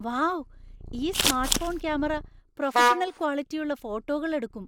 Wow ! ഈ smartphone camera professional ക്വാളിറ്റിയുള്ള ഫോട്ടോകൾ എടുക്കും.